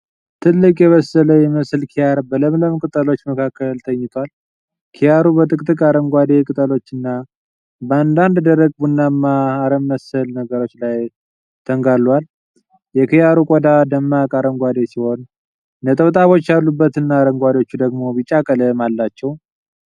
ትልቅ፣ የበሰለ የሚመስል ኪያር በለምለም ቅጠሎች መካከል ተኝቷል። ኪያሩ በጥቅጥቅ አረንጓዴ ቅጠሎችና በአንዳንድ ደረቅ ቡናማ አረምመሰል ነገሮች ላይ ተንጋሉዋል። የኪያሩ ቆዳ ደማቅ አረንጓዴ ሲሆን ነጠብጣቦች ያሉበትና አንዳንዶቹ ደግሞ ቢጫ ቀለም አላቸው።